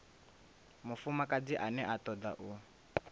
mufumakadzi ane a toda u